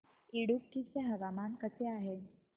इडुक्की चे हवामान कसे आहे